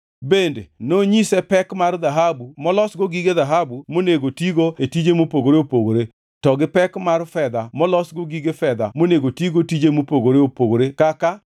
Bende nonyise pek mar dhahabu molosgo gige dhahabu monego tigo e tije mopogore opogore, to gi pek mar fedha molosgo gige fedha monego tigo tije mopogore opogore kaka: